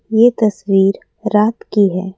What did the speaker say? ये तस्वीर रात की है।